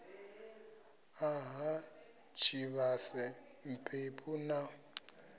a ha tshivhase mphephu na